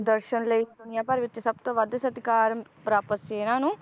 ਦਰਸ਼ਨ ਲਈ ਦੁਨੀਆਂ ਭਰ ਵਿਚ ਸਬਤੋਂ ਵੱਧ ਸਤਿਕਾਰ ਪ੍ਰਾਪਤ ਸੀ ਇਹਨਾਂ ਨੂੰ